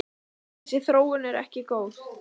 Þessi þróun sé ekki góð.